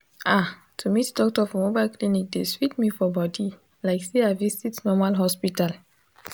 ah to meet doctor for mobile clinic dey sweet me for body like say i visit normal hospital